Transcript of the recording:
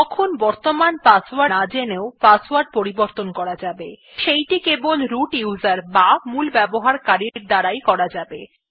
তখন বর্তমান পাসওয়ার্ড না জেনেও পাসওয়ার্ড পরিবর্তন করা যাবে সেইটি কেবল মূল ব্যবহারকারীর দ্বারা করা যাবে